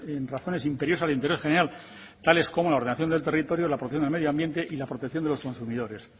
en razones imperiosas de interés general tales como la ordenación del territorio la protección del medio ambiente y la protección de los consumidores